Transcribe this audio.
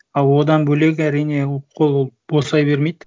ал одан бөлек әрине қол босай бермейді